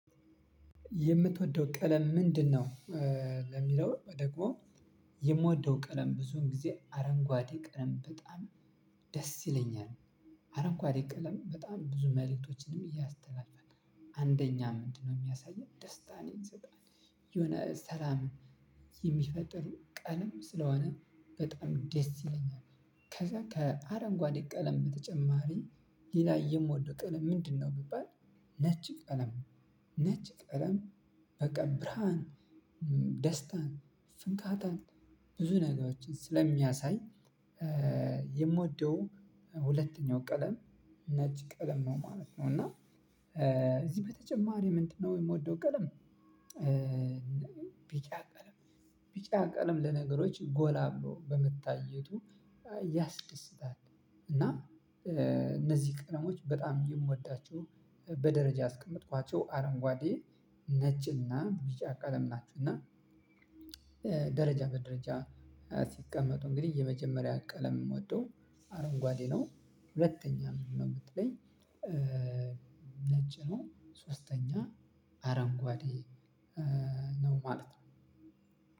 የምትወደው ቀለም ምንድነው? ለሚለው ደግሞ የምወደው ቀለም ብዙን ጊዜ አረንጓዴ ቅለም በጣም ደስ ይለኛል። አረንጓዴ ቅለም በጣም ብዙ መልእክቶችንም ያስተላልፋል። አንደኛ ምንድነው የሚያሳየን ደስታ ነው የሚሰጥነው። የሆነ ሰላም የሚፈጥር ቀለም ስለሆነ በጣም ደስ ይለኛል። ከዛ ከአረንጓዴ ቀለም በተጨማሪ ሌላ የምወደው ቀለም ምንድነው ቢባል? ነጭ ቀለም ነጭ ቀለም በቃ ብርሃን እ ደስታን ፍካታን ብዙ ነገሮችን ስለሚያሳይ እ የምወደው ሁለተኛው ቀለም ነጭ ቀለም ነው ማለት ነው። እና እዚህ በተጨማሪ ምንድነው የምወደው ቀለም እ ቢጫ ቀለም ቢጫ ቀለም ለነገሮች ጎላ ብሎ በመታየቱ ያስደስታል። እና እ እነዚህ ቀለሞች በጣም የምወዳቸው በደረጃ አስቀመጥኳቸው አረንጓዴ ነጭና ቢጫ ቀለም ናቸው። እና እ ደረጃ በደረጃ ሲቀመጡ እንግዲህ የመጀመሪያ ቀለም የምወደው አረንጓዴ ነው። ሁለተኛ ምንድነው ብትለኝ እ ነጭ ነው ሶስተኛ አረንጓዴ እ ነው ማለት ነው።